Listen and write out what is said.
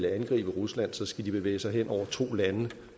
at angribe rusland så skal de bevæge sig hen over to lande